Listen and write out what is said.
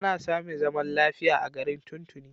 An sami zaman lafiya a garin tun tuni.